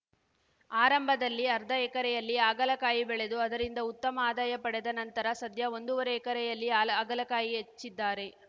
ಆರಂಭದಲ್ಲಿ ಅರ್ಧ ಎಕರೆಯಲ್ಲಿ ಹಾಗಲಕಾಯಿ ಬೆಳೆದು ಅದರಿಂದ ಉತ್ತಮ ಆದಾಯ ಪಡೆದ ನಂತರ ಸದ್ಯ ಒಂದೂವರೆ ಎಕರೆಯಲ್ಲಿ ಹಾಲ ಹಾಗಲಕಾಯಿ ಹಚ್ಚಿದ್ದಾರೆ